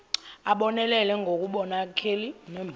abonelele ngobunkokheli nembono